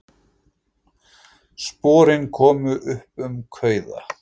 Sporin komu upp um kauða